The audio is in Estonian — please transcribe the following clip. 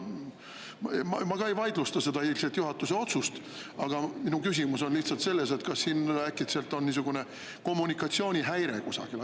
Ma ka ei vaidlusta seda eilset juhatuse otsust, aga minu küsimus on lihtsalt see, et kas siin äkitselt on kommunikatsioonihäire kusagil.